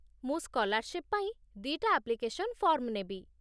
ମୁଁ ସ୍କଲାର୍ଶିପ୍ ପାଇଁ ଦି'ଟା ଆପ୍ଲିକେସନ୍ ଫର୍ମ ନେବି ।